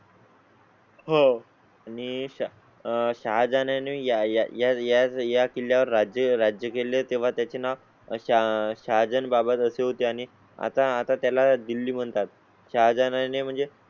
हो आणि आह सहा जणांनी ह्या किल्ल्या वर राज्य राज्य केले तेव्हा त्याचे नाव अशा सहा जण बाबा कसे होते आणि आता आता त्याला दिल्ली म्हणतात च्या जाण्या ने म्हणजे